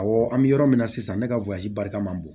Awɔ an bɛ yɔrɔ min na sisan ne ka barika man bon